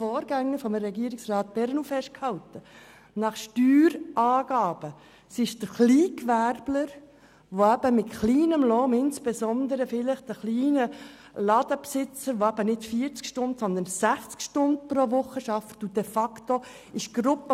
Im Armutsbereich von Regierungsrat Perrenoud ist festgehalten, dass gemäss Steuerangaben der Kleingewerbler mit kleinem Lohn, insbesondere vielleicht ein kleiner Ladenbesitzer, der nicht 40, sondern 60 Stunden pro Woche arbeitet, zu dieser Gruppe gehört.